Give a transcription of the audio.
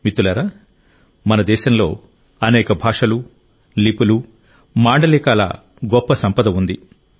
మిత్రులారా మన దేశంలో అనేక భాషలు లిపులు మాండలికాల గొప్ప సంపద ఉంది